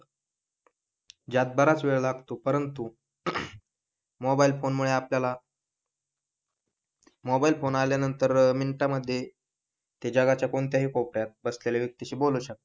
यात बराच वेळ लागतो परंतु, मोबाईल फोन मुळे आपल्याला मोबाइल फोन आल्यांनतर मिनिटामध्ये ते जगाच्या कोणत्याही कोपऱ्यात बसलेल्या व्यक्तीशी बोलू शकतो.